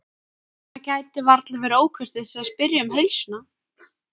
Það gæti varla verið ókurteisi að spyrja um heilsuna.